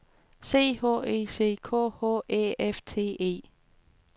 C H E C K H Æ F T E